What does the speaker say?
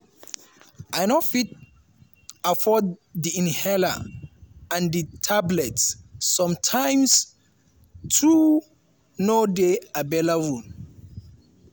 “i no fit afford di inhaler and di tablets sometimes too no dey available.